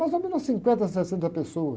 Mais ou menos cinquenta, sessenta pessoas.